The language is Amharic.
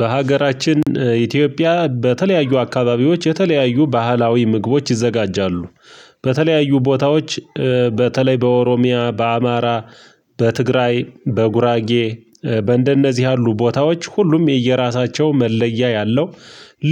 በሀገራችን ኢትዮጵያ በተለያዩ አካባቢዎች የተለያዩ ባህላዊ ምግቦች ይዘጋጃሉ። በተለያዩ ቦታዎች። በተለይ በኦሮሚያ በአማራ በትግራይ በጉራጌ በእንደ እነዚህ ያሉ ቦታዎች ሁሉም የየራሳቸው መለያ ያለው